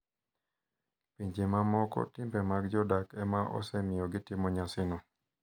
Pinje mamoko timbe mag jodak ema osemiyo gitimo nyasino.